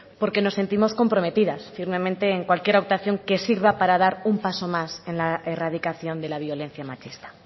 porque nos sentimos comprometidas firmemente en cualquier adaptación que sirva para dar un paso más en la erradicación de la violencia machista